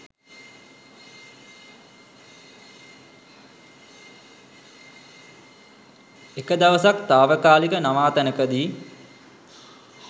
එක දවසක් තාවකාලික නවාතැනකදි